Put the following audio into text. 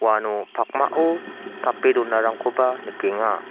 uano pakmao tape donarangkoba nikenga.